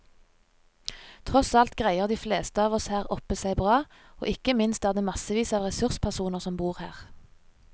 Tross alt greier de fleste av oss her oppe seg bra, og ikke minst er det massevis av ressurspersoner som bor her.